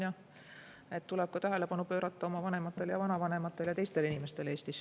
Ja tuleb tähelepanu pöörata ka oma vanematele ja vanavanematele ja üldse teistele inimestele Eestis.